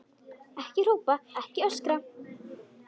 Ekki hrópa, ekki öskra!